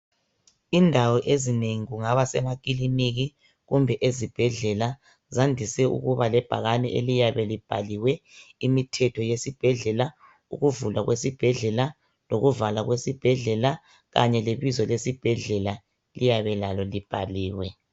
Indawo ezinengi kungaba semakiliniki kumbe ezibhedlela, zandise ukuba lebhakane lesibhedlela, eliyabe libhaliwe umthetho wesibhedlela ukuvulwa kwesibhedlela lokuvalwa kwesibhedlela kanye lebizo lesibhedlela liyabe libhaliwe.